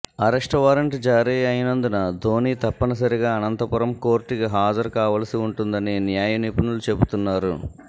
arrest warrant జారీ అయినందున ధోని తప్పనిసరిగా అనంతపురం కోర్టుకి హాజరు కావలసి ఉంటుందని న్యాయ నిపుణులు చెపుతున్నారు